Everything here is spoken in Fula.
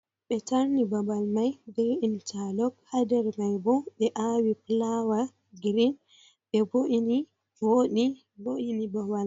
be tarni babal mai be interlok, ha nder mai bo ɓe awi flawa green, be bo’ini voɗi voini babal.